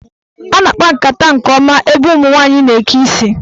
A na-akpa nkata nke ọma n'ebe ụmụnwanyị na-eke isi.